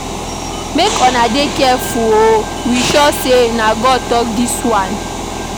Make una dey careful o, we no sure sey na God tok dis one.